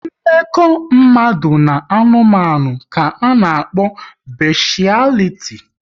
Mmekọ mmadụ na anụmanụ ka a na-akpọ beshialiti